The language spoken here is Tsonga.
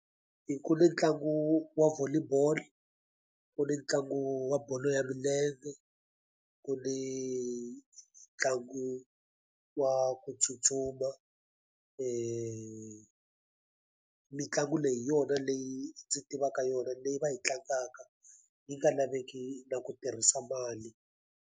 Ku ni ntlangu wa volley ball, ku ni ntlangu wa bolo ya milenge, ku ni ntlangu wa ku tsutsuma. Mitlangu leyi hi yona leyi ndzi tivaka yona leyi va yi tlangaka, yi nga laveki na ku tirhisa mali.